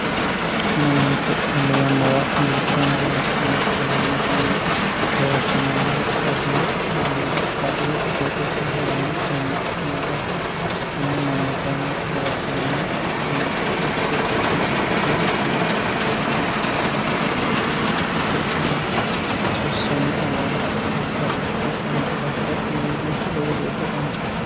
manninke tenne yannara duucha hinge ala'numoro fayimmatenni gawajjamannohu baadiyyete olliira baadiyyete qooxeessira hee'ranno manna ikkino daafo kunne manna kayinni gawajjamannotana xissote babbaxeworichira monnu ikkita gatisatte hedo cu'mishiishanna hasiissanno owaante assa hasiissanno daafi'ra tini uudiinsha lowo geeshshe dancatte